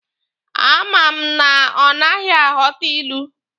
A ma m na ọ naghị aghọta ilu.